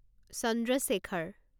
Chandra Shekhar